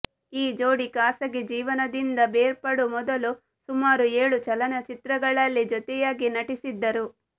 ಈ ಜೋಡಿ ಖಾಸಗಿ ಜೀವನದಿಂದ ಬೇರ್ಪಡುವ ಮೊದಲು ಸುಮಾರು ಏಳು ಚಲನಚಿತ್ರಗಳಲ್ಲಿ ಜೊತೆಯಾಗಿ ನಟಿಸಿದ್ದರು